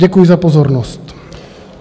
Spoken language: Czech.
Děkuji za pozornost.